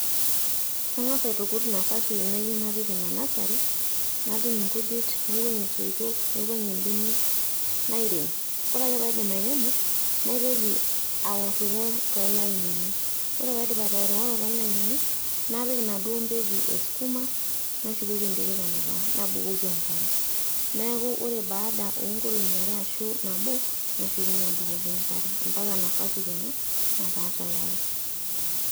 Kang`as aitukut napasi nayieu napik ina nursery nadung nkujit, naiwuang`ie soitok, naiwuang`ie mbenek nairem. Ore ake pee aidip airemo naitoki aworiwor too lainini ore pee aidip atoworiworo too lainini napik inaduo mpeku e sukuma nashukoki enterit anukaa nabukoki enkare niaku ore baada oo nkolong`i are arashu nabo nashukunyie abukoki enkare mpaka nafasi kenya nataa tayari.